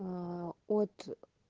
от